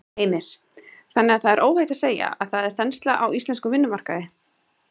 Heimir: Þannig að það er óhætt að segja að það er þensla á íslenskum vinnumarkaði?